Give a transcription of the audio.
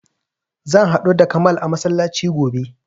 Zan haɗu da kamal a masallaci gobe